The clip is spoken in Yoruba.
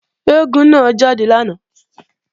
Eégún náà jáde lánàá